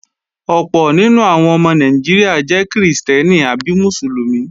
Ọ̀pọ̀ nínú àwọn ọmọ Nàìjíríà jẹ́ krìstẹ́nì àbí Mùsùlùmí